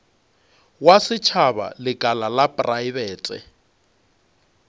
wa setšhaba lekala la praebete